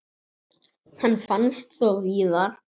Hann finnst þó víðar.